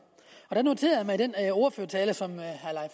i den ordførertale som herre